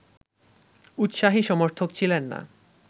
উৎসাহী সমর্থক ছিলেন না